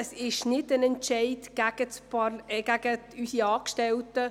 Es ist nicht ein Entscheid gegen unsere Angestellten.